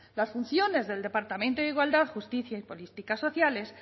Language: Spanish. las funciones del departamento de igualdad justicia y políticas sociales